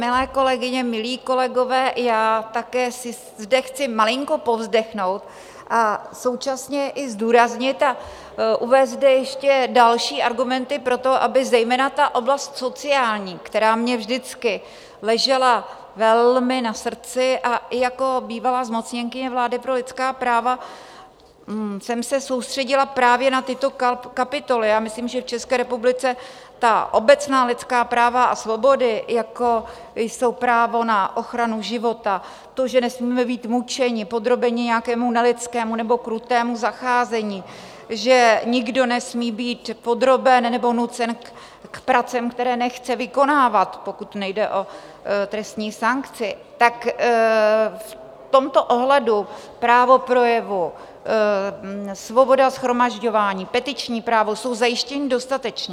Milé kolegyně, milí kolegové, já také si zde chci malinko povzdechnout a současně i zdůraznit a uvést zde ještě další argumenty pro to, aby zejména ta oblasti sociální, která mě vždycky ležela velmi na srdci, a i jako bývalá zmocněnkyně vlády pro lidská práva jsem se soustředila právě na tyto kapitoly, já myslím, že v České republice ta obecná lidská práva a svobody, jako jsou právo na ochranu života, to, že nesmíme být mučeni, podrobeni nějakému nelidskému nebo krutému zacházení, že nikdo nesmí být podroben nebo nucen k pracím, které nechce vykonávat, pokud nejde o trestní sankci, tak v tomto ohledu právo projevu, svoboda shromažďování, petiční právo, jsou zajištěna dostatečně.